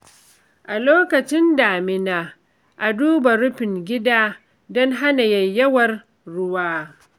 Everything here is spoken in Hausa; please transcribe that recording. A lokacin damina, a duba rufin gida don hana yayyawar ruwa.